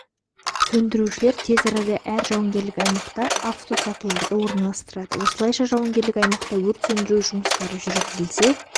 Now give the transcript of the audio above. сөндірушілер тез арада әр жауынгерлік аймаққа автосатыларды орналастырады осылайша жауынгерлік аймақта өрт сөндіру жұмыстары жүргізілсе